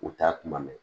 U ta kuma mɛn